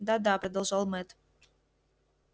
да да продолжал мэтт